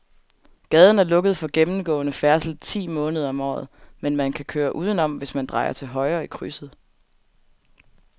Gaden er lukket for gennemgående færdsel ti måneder om året, men man kan køre udenom, hvis man drejer til højre i krydset.